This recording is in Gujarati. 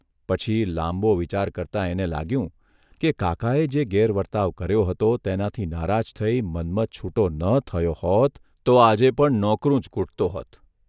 પછી લાંબો વિચાર કરતાં એને લાગ્યું કે કાકાએ જે ગેરવર્તાવ કર્યો હતો તેનાથી નારાજ થઇ મન્મથ છૂટો ન થયો હોત તો આજે પણ નોકરું જ કુટતો હતો.